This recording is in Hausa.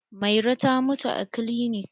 Mairo ta mutu a kilinik.